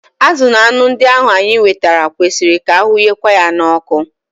Azụ na anụ ndị ahu anyị nwetara kwesịrị ka ahụnyekwa ha n'oku